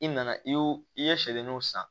I nana i y'o i ye sɛgɛnnenw san